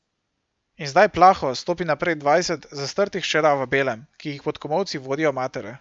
In zdaj plaho stopi naprej dvajset zastrtih hčera v belem, ki jih pod komolci vodijo matere.